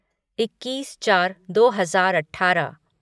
इक्कीस चार दो हजार अठारह